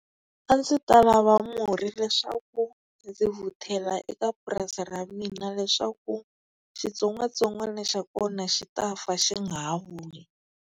A ndzi ta lava murhi leswaku ndzi vhutela eka purasi ra mina leswaku xitsongwatsongwana xa kona xi ta fa xi nga ha vuyi.